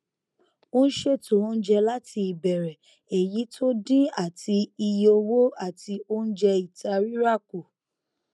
ó n ṣètò oúnjẹ láti ìbẹrẹ èyí tó dín àti iye owó àti oúnjẹ ìta rírà kù